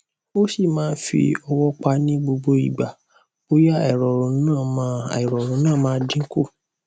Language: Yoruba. a si man fi owo pa ni gbogbo igba boya airorun na ma airorun na ma dinku